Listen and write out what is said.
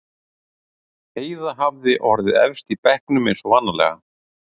Heiða hafði orðið efst í bekknum eins og vanalega.